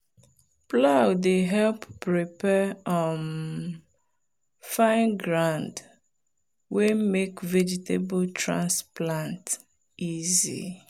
plow dey help prepare um fine ground wey make vegetable transplant easy.